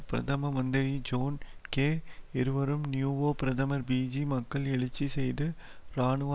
பிரதம மந்திரி John Key இருவரும் நியூவோ பிரதமர் பிஜி மக்களை எழுச்சி செய்து இராணுவ